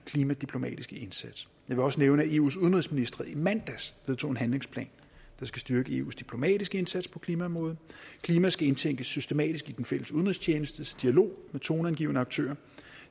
klimadiplomatiske indsats jeg vil også nævne at eus udenrigsministre i mandags vedtog en handlingsplan der skal styrke eus diplomatiske indsats på klimaområdet klima skal indtænkes systematisk i den fælles udenrigstjenestes dialog med toneangivende aktører